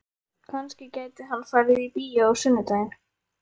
Kannski gæti hann farið í bíó á sunnudaginn?